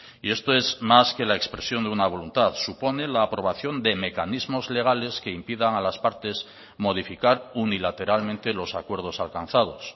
y esto es más que la expresión de una voluntad supone la aprobación de mecanismos legales que impidan a las partes modificar unilateralmente los acuerdos alcanzados